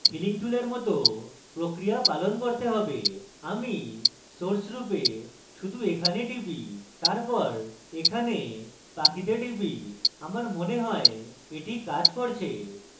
আমাকে healing টুলের মত প্রক্রিয়া পালন করতে have আমি source রূপে শুধু এখানে টিপি তারপর এখানে পাখিতে টিপি এবং আমার মনে হয় এটি কাজ করে